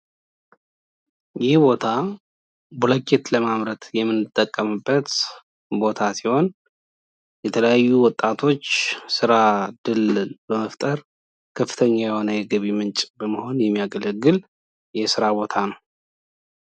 ይህ ቦታ ብሎኬት ለማምረት የምንጠቀምበት ቦታ ሲሆን የተለያዩ ወጣቶች ስራ እድል በመፍጠር ከፍተኛ የሆነ የገቢ ምንጭ በመሆን የሚያገለግል የስራ ቦታ ነው።